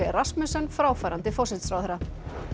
Rasmussen fráfarandi forsætisráðherra